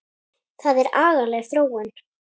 Það er agaleg þróun.